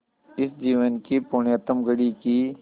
इस जीवन की पुण्यतम घड़ी की स्